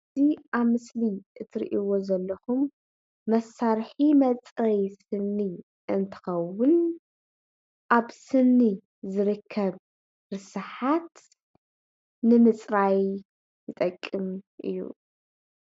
እዚ ኣብ ምስሊ እትሪእዎ ዘለኩም መሳርሒ መፅረይ ስኒ እንትከውን ኣብ ስኒ ዝርከብ ርስሓት ንምፅራይ ዝጠቅም እዩ፡፡